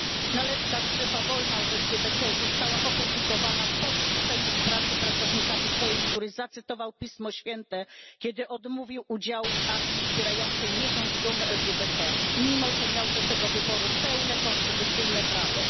Nalepka Strefa wolna od LGBT została opublikowana po wyrzuceniu z pracy pracownika Ikei, który zacytował Pismo Święte, kiedy odmówił udziału w akcji wspierającej miesiąc dumy LGBT, mimo że miał do tego wyboru pełne konstytucyjne prawo.